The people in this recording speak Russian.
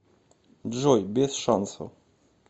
джой без шансов